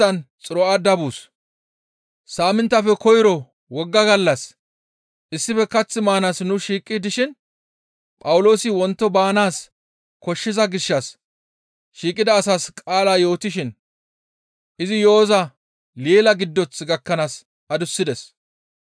Saaminttafe koyro wogga gallas issife kath maanaas nu shiiqi dishin Phawuloosi wonto baanaas koshshiza gishshas shiiqida asaas qaala yootishin izi yo7oza leela giddoth gakkanaas adussides.